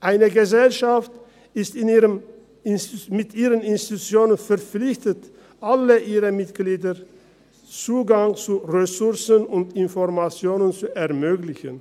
Eine Gesellschaft ist mit ihren Institutionen verpflichtet, allen ihren Mitgliedern Zugang zu Ressourcen und Informationen zu ermöglichen.